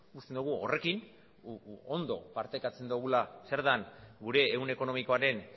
uste dugu horrekin ondo partekatzen dugula zer den gure ehun ekonomikoaren